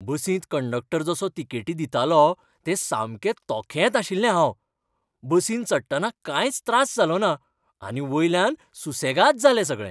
बसींत कंडक्टर जसो तिकेटी दितालो तें सामकें तोखेत आशिल्लें हांव. बसींत चडटना कांयच त्रास जालोना आनी वयल्यान सुसेगाद जालें सगळें.